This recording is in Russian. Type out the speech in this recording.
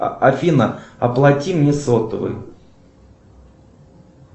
афина оплати мне сотовый